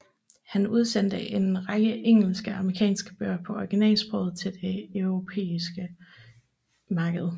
Han udsendte en række engelske og amerikanske bøger på originalsproget til det europæiske marked